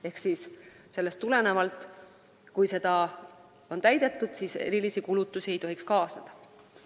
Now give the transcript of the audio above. Ehk kui seda on täidetud, siis erilisi kulutusi ei tohiks kaasneda.